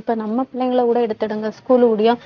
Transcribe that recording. இப்ப நம்ம பிள்ளைங்களை கூட எடுத்திடுங்க school